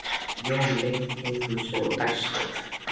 Jón leit í kringum sig og dæsti.